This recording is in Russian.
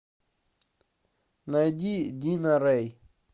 найди дина рэй